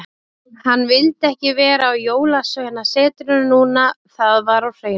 Hann vildi ekki vera á Jólasveinasetrinu núna, það var á hreinu.